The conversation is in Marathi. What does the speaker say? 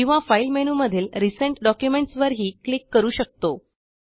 किंवा फाइल मेनूमधील रिसेंट डॉक्युमेंट्स वरही क्लिक करू शकतो